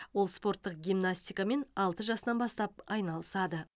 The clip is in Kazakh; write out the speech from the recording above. ол спорттық гимнастикамен алты жасынан бастап айналысады